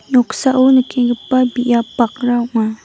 noksao nikenggipa biap bakra ong·a.